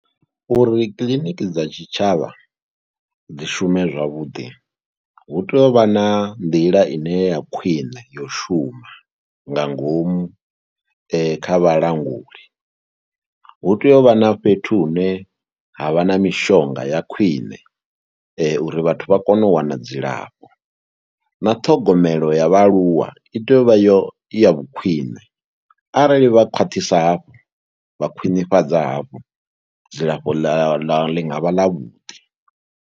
Uri kiḽiniki dza tshitshavha dzi shume zwavhuḓi hu tea u vha na nḓila ine ya khwine ya u shuma nga ngomu kha vhalanguli. Hu tea u vha na fhethu hune ha vha na mishonga ya khwiṋe uri vhathu vha kone u wana dzilafho na ṱhogomelo ya vhaaluwa i tea u vha yo, i ya vhukhwine arali vha khwaṱhisa hafha vha khwinifhadza hafho, dzilafho ḽa ḽi nga vha ḽavhuḓi.